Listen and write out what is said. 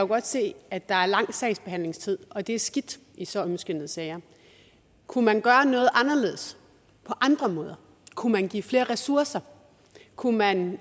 godt se at der er lang sagsbehandlingstid og det er skidt i så ømskindede sager kunne man gøre noget anderledes på andre måder kunne man give flere ressourcer kunne man